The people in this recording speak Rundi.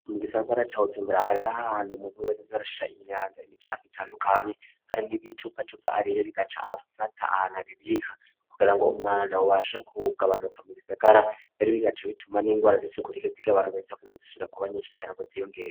Mu gisagara ca Bujumbura hariho ahantu umuntu wese aza arashira imyanda, imicafu itandukanye ari nk'ibicupacupa, ariye agaca afata ahantu abibika kugira ngo umwanda ubashe kugabanuka mu gisagara mbere bigaca bituma n'ingwara z'isuku rike zigabanuka zidasubira kuba nyinshi cane ngo ziyongere.